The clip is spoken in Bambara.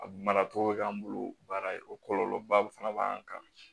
A mara cogo bɛ k'an bolo baara ye o kɔlɔlɔba fana b'an kan